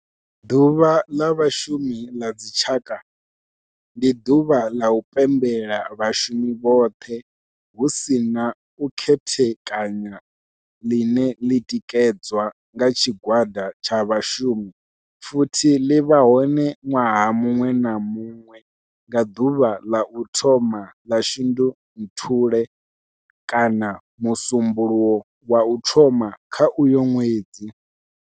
Ḓuvha la Vhashumi la dzi tshaka, ndi duvha la u pembela vhashumi vhothe hu si na u khethekanya line li tikedzwa nga tshigwada tsha vhashumi futhi li vha hone nwaha munwe na munwe nga duvha la u thoma 1 la Shundunthule kana musumbulowo wa u thoma kha uyo nwedzi.